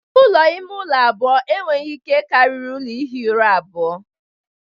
Ụlọ ime ụlọ abụọ enweghị ihe karịrị ụlọ ihi ụra abụọ